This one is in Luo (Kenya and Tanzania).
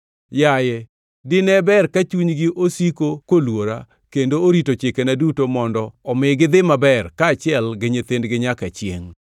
Yaye, dine ber ka chunygi osiko koluora kendo orito chikena duto mondo omi gidhi maber kaachiel gi nyithindgi nyaka chiengʼ!